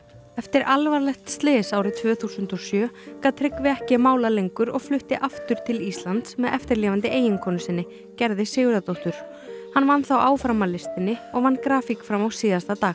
eftir alvarlegt slys árið tvö þúsund og sjö gat Tryggvi ekki málað lengur og flutti aftur til Íslands með eftirlifandi eiginkonu sinni Gerði Sigurðardóttur hann vann þó áfram að listinni og vann grafík fram á síðasta dag